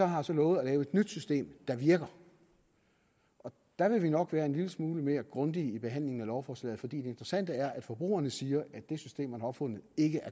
har så lovet at lave et nyt system der virker der vil vi nok være en lille smule mere grundige i behandlingen af lovforslaget fordi det interessante er at forbrugerne siger at det system man har opfundet ikke er